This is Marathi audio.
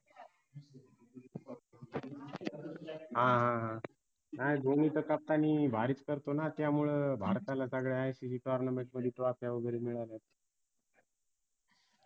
हां हां हां नाय धोनीत captan नी भारीच करतो ना त्यामुळे भारताला सगळ्या ICCtournament मध्ये trophy फ्या वगैरे मिळाल्यात